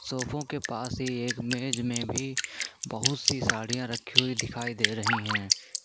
सोफों के पास ही एक मेज़ में भी बहुत सी साड़ियां रखी हुई दिखाई दे रही हैं।